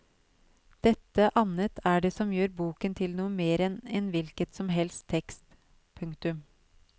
Dette annet er det som gjør boken til noe mer enn en hvilket som helst tekst. punktum